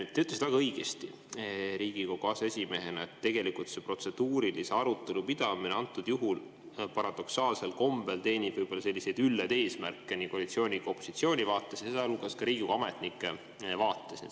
Te ütlesite väga õigesti Riigikogu aseesimehena, et tegelikult see protseduurilise arutelu pidamine antud juhul paradoksaalsel kombel teenib võib-olla selliseid üllaid eesmärke nii koalitsiooni kui ka opositsiooni vaates, sealhulgas Riigikogu ametnike vaates.